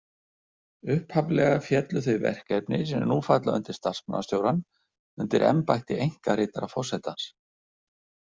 Upphaflega féllu þau verkefni sem nú falla undir starfsmannastjórann undir embætti einkaritara forsetans.